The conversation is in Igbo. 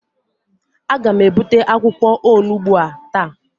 Aga m ebute akwụkwọ onugbu a taa